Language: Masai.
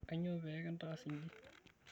Kainyoo pee kintaas inji?